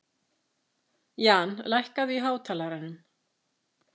Jan, lækkaðu í hátalaranum.